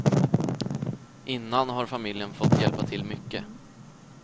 Innan har familjen fått hjälpa till mycket.